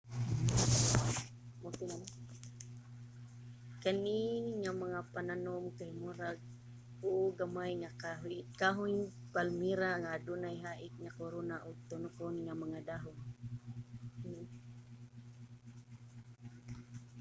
kani nga mga pananom kay mura uo gamay nga kahoyng palmera nga adunay hait nga korona ug tunokon nga mga dahon